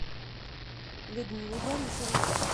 людмилой борисовой